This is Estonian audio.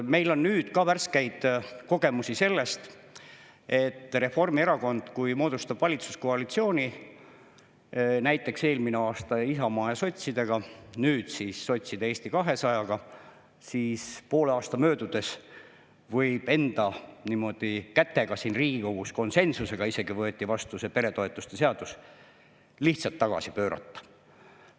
Meil on nüüd ka värskeid kogemusi sellest, et kui Reformierakond moodustab valitsuskoalitsiooni, näiteks eelmisel aastal Isamaa ja sotsidega, nüüd sotside ja Eesti 200-ga, siis ta võib poole aasta möödudes enda kätega – siin Riigikogus konsensusega isegi võeti vastu see peretoetuste seadus – lihtsalt tagasi pöörata.